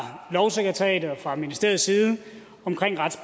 fra ministeriets side omkring